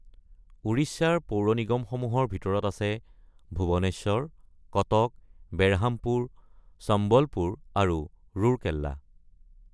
উৰিষ্যাৰ পৌৰ নিগমসমূহৰ ভিতৰত আছে ভুৱনেশ্বৰ, কটক, বেৰহামপুৰ, সম্বলপুৰ আৰু ৰুৰকেলা।